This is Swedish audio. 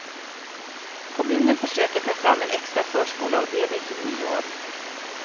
Kommunen försöker ta fram en extra förskoleavdelning till nyår.